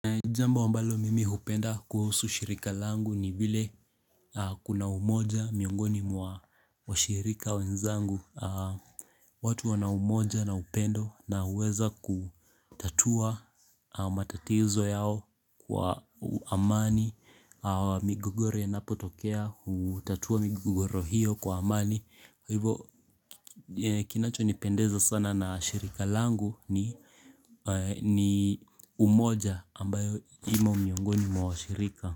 Jambo ambalo mimi hupenda kuhusu shirika langu ni vile kuna umoja miongoni wa shirika wenzangu watu wana umoja na upendo na huweza kutatua matatizo yao kwa amani migogoro inapotokea, hutatua migogoro hiyo kwa amani Hivo kinacho nipendeza sana na shirika langu ni ni umoja ambayo imo miongoni mwa washirika.